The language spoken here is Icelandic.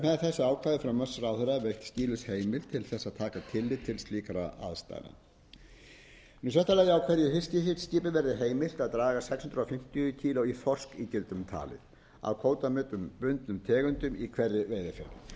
skýlaus heimild til þess að taka tillit til slíkra aðstæðna í sjötta lagi að hverju fiskiskipi verði heimilt að draga sex hundruð fimmtíu kílógrömm í þorskígildum talið af kvótabundnum tegundum í hverri veiðiferð þannig er afli hverrar veiðiferðar